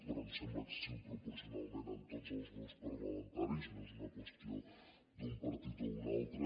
però ens sembla excessiu proporcionalment en tots els grups parlamentaris no és una qüestió d’un partit o un altre